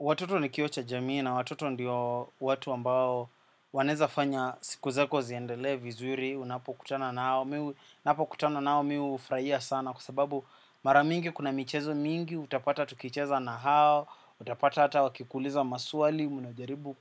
Watoto ni kioo cha jamii na watoto ndiyo watu ambao wanaweza fanya siku zako ziendele vizuri. Unapokutana nao kutana nao mimi hufurahia sana kwa sababu mara mingi kuna michezo mingi. Utapata tukicheza na hao, utapata ata wakikuliza maswali, unajaribu